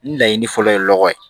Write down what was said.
Laɲini fɔlɔ ye lɔgɔ ye